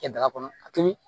Kɛ daga kɔnɔ a tobi